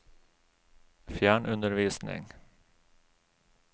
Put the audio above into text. fjernundervisning